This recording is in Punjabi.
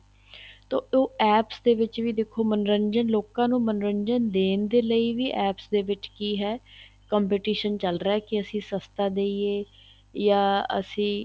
ਤਾਂ ਉਹ APPS ਵਿੱਚ ਵੀ ਦੇਖੋ ਮੰਨੋਰੰਜਨ ਲੋਕਾਂ ਨੂੰ ਮੰਨੋਰੰਜਨ ਦੇਣ ਦੇ ਲਈ ਵੀ APPS ਦੇ ਵਿੱਚ ਕੀ ਹੈ competition ਚੱਲ ਰਿਹਾ ਕੀ ਅਸੀਂ ਸਸਤਾ ਦਈਏ ਜਾਂ ਅਸੀਂ